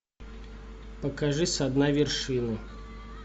покажи со дна вершины